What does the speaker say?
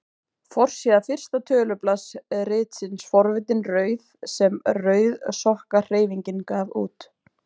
Forsíða fyrsta tölublaðs ritsins Forvitin rauð sem Rauðsokkahreyfingin gaf út.